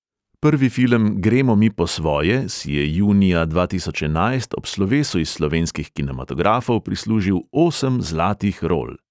Prvi film gremo mi po svoje si je junija dva tisoč enajst ob slovesu iz slovenskih kinematografov prislužil osem zlatih rol.